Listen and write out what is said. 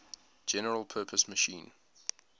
general purpose machine